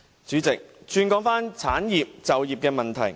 主席，讓我談談產業及就業問題。